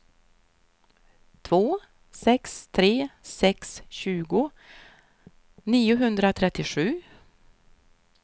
två sex tre sex tjugo niohundratrettiosju